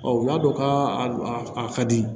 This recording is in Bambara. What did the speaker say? u y'a dɔn k'a a ka di